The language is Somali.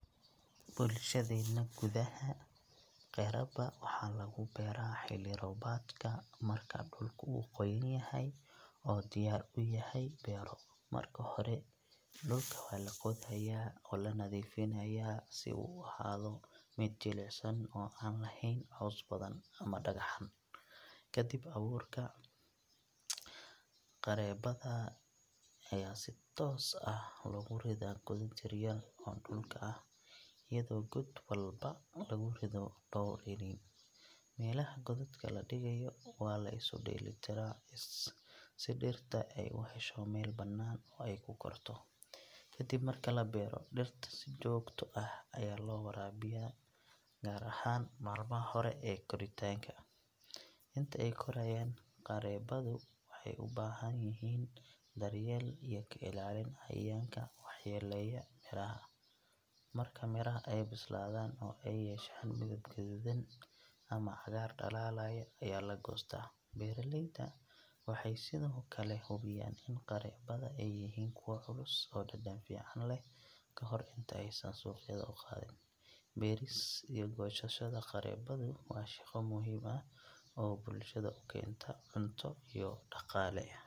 Bulshadeenna gudaha, qareeba waxaa lagu beeraa xilli roobaadka marka dhulku uu qoyan yahay oo diyaar u yahay beero. Marka hore, dhulka waa la qodayaa oo la nadiifinayaa si uu u ahaado mid jilicsan oo aan lahayn caws badan ama dhagxaan. Ka dib, abuurka qareebada ayaa si toos ah loogu ridaa godad yar yar oo dhulka ah, iyadoo god walba lagu rido dhowr iniin. Meelaha godadka la dhigayo waa la isu dheellitiraa si dhirta ay u hesho meel bannaan oo ay ku korto. Ka dib marka la beero, dhirta si joogto ah ayaa loo waraabiyaa, gaar ahaan maalmaha hore ee koritaanka. Inta ay korayaan, qareebadu waxay u baahan yihiin daryeel iyo ka ilaalin cayayaanka waxyeeleeya miraha. Marka miraha ay bislaadaan, oo ay yeeshaan midab guduudan ama cagaar dhalaalaya, ayaa la goostaa. Beeraleyda waxay sidoo kale hubiyaan in qareebada ay yihiin kuwo culus oo dhadhan fiican leh ka hor inta aysan suuqyada u qaadin. Beeris iyo goosashada qareebadu waa shaqo muhiim ah oo bulshada u keenta cunto iyo dhaqaale.